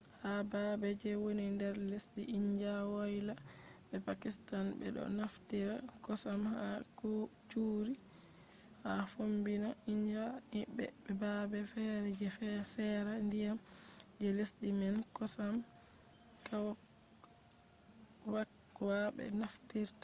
ha baabe je woni nder lesdi india woyla be pakistan ɓe do naftira kosam ha curries; ha fombina india be baabe feere je seera ndiyam je lesdi man kosam kwakwa be naftirta